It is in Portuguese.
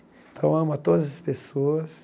Então, eu amo a todas as pessoas.